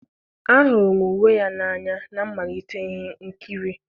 ahụrụ m uwe ya n'anya na mmalite ihe nkiri.